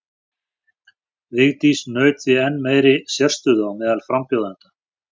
Vigdís naut því enn meiri sérstöðu á meðal frambjóðenda.